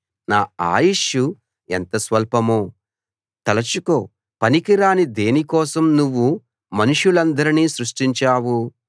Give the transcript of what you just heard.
నా ఆయుష్షు ఎంత స్వల్పమో తలచుకో పనికిరాని దేనికోసం నువ్వు మనుషులందరినీ సృష్టించావు